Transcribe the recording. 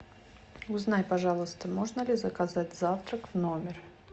узнай пожалуйста можно ли заказать завтрак в номер